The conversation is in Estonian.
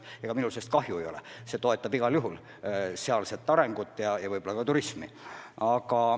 Ega minul sellest kahju ei ole, see toetab igal juhul sealset arengut ja võib-olla ka turismi.